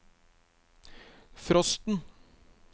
frosten